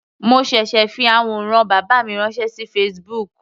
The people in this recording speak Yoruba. Mo ṣẹ̀ṣẹ̀ fi àwòrán bàbá mi ránṣẹ́ sí Facebook.